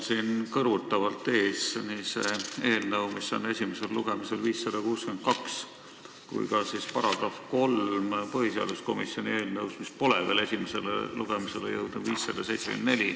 Mul on kõrvutavalt ees nii see eelnõu 562, mis on esimesel lugemisel, kui ka § 3 põhiseaduskomisjoni eelnõust 574, mis pole veel esimesele lugemisele jõudnud.